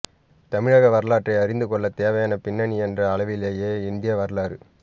தமிழக வரலாற்றை அறிந்துகொள்ள தேவையான பின்னணி என்ற அளவிலேயே இந்திய வரலாறு